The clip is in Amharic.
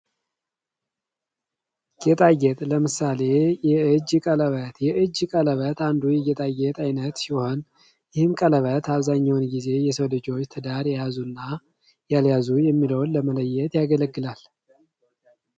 ጌጣጌጥ ለምሳሌ፦ የእጅ ቀለበት፤ የእጅ ቀለበት አንዱ ጌጣጌጥ ዓይነት ሲሆን, ይህም ቀለበት አብዛኛውን ጊዜ የሰው ልጆች ትዳር የያዙና ያልያዙ የሚለውን ለመለየት ያገለግላል።